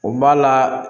O b'a la